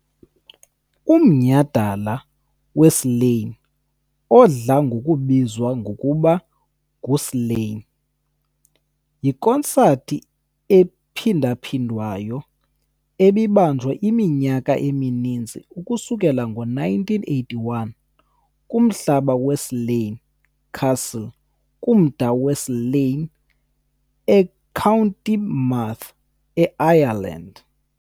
Umnyhadala weSlane, odla ngokubizwa ngokuba nguSlane, yikonsathi ephindaphindwayo ebibanjwa iminyaka emininzi ukusukela ngo-1981 kumhlaba weSlane Castle kumda weSlane e County Meath, eIreland.